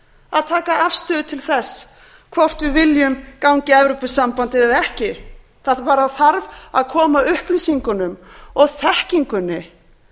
að taka afstöðu til þess hvort við viljum ganga í evrópusambandið eða ekki það bara þarf að koma upplýsingunum og þekkingunni